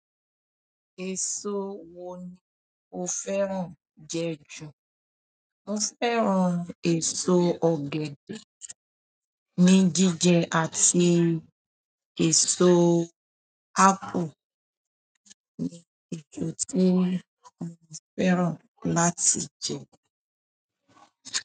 Èso wo ni o fẹ́ràn jẹ ju? Mo fẹ́ràn èso ọ̀gẹ̀dẹ̀ ní jíjẹ àti èso apple ní eso ti mo fẹ́ràn láti jẹ.